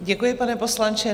Děkuji, pane poslanče.